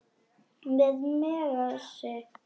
Með Megasi.